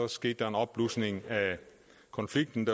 skete der en opblusning af konflikten